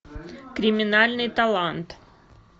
криминальный талант